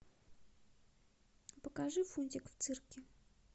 покажи фунтик в цирке